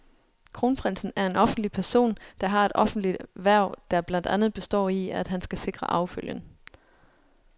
Kronprinsen er en offentlig person, der har et offentligt hverv, der blandt andet består i, at han skal sikre arvefølgen.